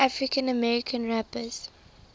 african american rappers